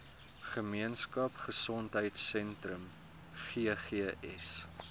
gemeenskap gesondheidsentrum ggs